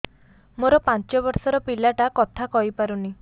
ମୋର ପାଞ୍ଚ ଵର୍ଷ ର ପିଲା ଟା କଥା କହି ପାରୁନି